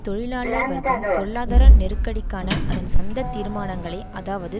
தொழிலாளர் வர்க்கம் பொருளாதார நெருக்கடிக்கான அதன் சொந்த தீர்மானங்களை அதாவது